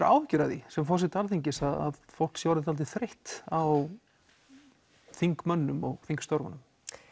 áhyggjur af því sem forseti Alþingis að fólk sé orðið dálítið þreytt á þingmönnum og þingstörfunum